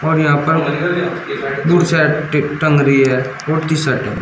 और यहां पर बुट शर्ट टंग रही है और टी शर्ट है।